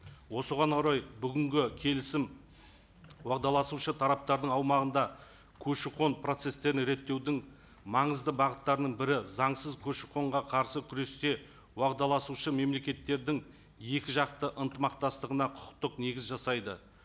осыған орай бүгінгі келісім уағдаласушы тараптардың аумағында көші қон процесстерін реттеудің маңызды бағыттарының бірі заңсыз көші қонға қарсы күресте уағдаласушы мемлекеттердің екі жақты ынтымақтастығына құқықтық негіз жасайды